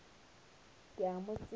ke a mo tseba ke